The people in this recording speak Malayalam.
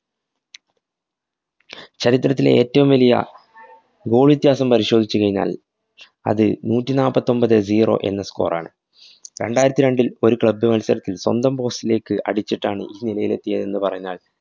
ചരിത്രത്തിലെ ഏറ്റവും വലിയ goal വ്യത്യാസം പരിശോധിച്ചു കഴിഞ്ഞാല്‍ അത് നൂറ്റിനാപ്പൊത്തൊന്‍പത് zero എന്ന score ആണ്. രണ്ടായിരത്തി രണ്ടില്‍ ഒരു club മത്സരത്തില്‍ സ്വന്തം post ലേക്ക് അടിച്ചിട്ടാണ് ഈ നിലയിലേക്ക് എത്തിയത് എന്നു പറഞ്ഞാല്‍